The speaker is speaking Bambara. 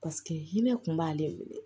Paseke hinɛ kun b'ale minɛ